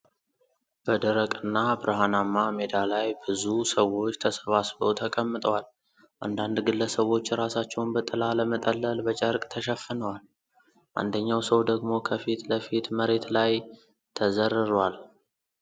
በደረቅና በረሃማ ሜዳ ላይ ብዙ ሰዎች ተሰባስበው ተቀምጠዋል። አንዳንድ ግለሰቦች ራሳቸውን በጥላ ለመጠለል በጨርቅ ሸፍነዋል። አንደኛው ሰው ደግሞ ከፊት ለፊት መሬት ላይ ተዘርሯል።